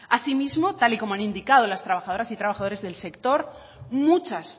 asimismo tal y como han indicado las trabajadores y trabajadores del sector muchas